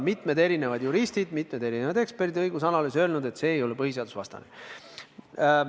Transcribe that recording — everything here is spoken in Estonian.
Mitmed juristid, mitmed eksperdid ja õigusanalüütikud on öelnud, et see ei ole põhiseadusvastane.